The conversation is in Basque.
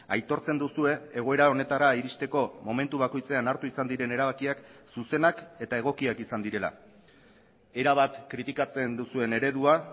aitortzen duzue egoera honetara iristeko momentu bakoitzean hartu izan diren erabakiak zuzenak eta egokiak izan direla erabat kritikatzen duzuen eredua